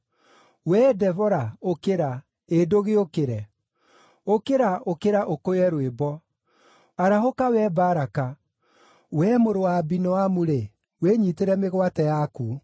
‘Wee Debora, ũkĩra! Ĩ ndũgĩũkĩre! Ũkĩra, ũkĩra, ũkũye rwĩmbo! Arahũka wee Baraka! Wee mũrũ wa Abinoamu-rĩ, wĩnyiitĩre mĩgwate yaku.’